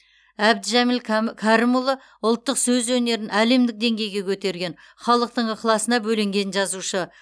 әбдіжәміл кәм кәрімұлы ұлттық сөз өнерін әлемдік деңгейге көтерген халықтың ықыласына бөленген жазушы